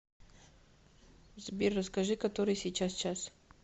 сбер расскажи который сейчас час